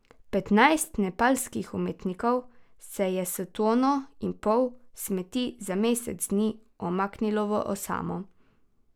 Petnajst nepalskih umetnikov se je s tono in pol smeti za mesec dni umaknilo v osamo.